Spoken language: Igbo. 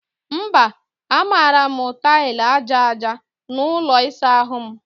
Mba, a mara m taịlị aja aja n'ụlọ ịsa ahụ m